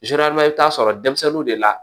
i bɛ taa sɔrɔ denmisɛnninw de la